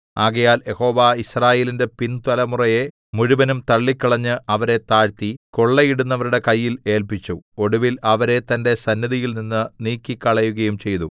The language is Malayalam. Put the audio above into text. ആകയാൽ യഹോവ യിസ്രായേലിന്റെ പിന്തലമുറയെ മുഴുവനും തള്ളിക്കളഞ്ഞ് അവരെ താഴ്ത്തി കൊള്ളയിടുന്നവരുടെ കയ്യിൽ ഏല്പിച്ചു ഒടുവിൽ അവരെ തന്റെ സന്നിധിയിൽനിന്ന് നീക്കിക്കളയുകയും ചെയ്തു